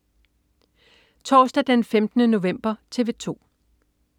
Torsdag den 15. november - TV 2: